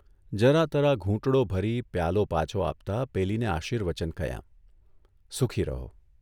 જરા તરા ઘૂંટડો ભરી પ્યાલો પાછો આપતા પેલીને આશિર્વચન કહ્યા ' સુખી રહો.